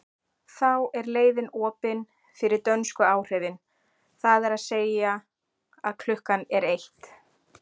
Þá er leiðin opin fyrir dönsku áhrifin, það er að segja að klukkan er eitt.